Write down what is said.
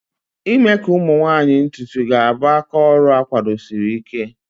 ime ka ụmụ nwanyị ntutu ga-abụ aka oru akwadosiri Ike.